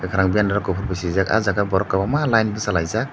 rang bendaro kopor ke suijak ah jaga o borok kobang ma layen bosalai jak.